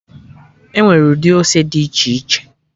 Enwere ụdị ose dị iche iche